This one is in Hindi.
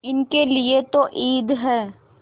इनके लिए तो ईद है